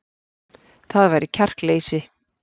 Það væri kjarkleysi